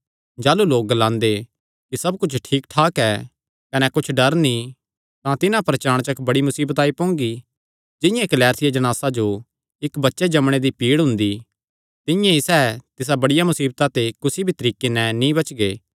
जाह़लू लोक ग्लांगे कि सब कुच्छ ठीक ठाक ऐ कने कुच्छ डर नीं तां तिन्हां पर चाणचक बड़ी मुसीबत आई पोंगी जिंआं इक्क लैरथिया जणासा जो इक्क बच्चे जम्मणे दी पीड़ हुंदी तिंआं ई सैह़ तिसा बड़िया मुसीबता ते कुसी भी तरीके नैं नीं बचगे